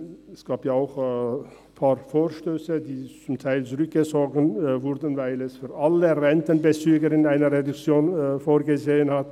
Es gab auch Vorstösse, welche teilweise zurückgezogen wurden, weil für alle Rentenbezüger eine Reduktion vorgesehen war.